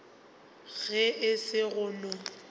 ge e se go no